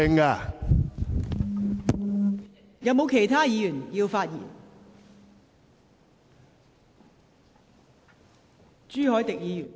是否有其他議員想發言？